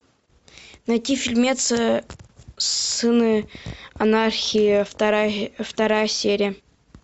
найти фильмец сыны анархии вторая серия